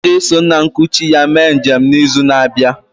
Ọ ga-eso nna nkuchi ya mee njem n'izu na-abịa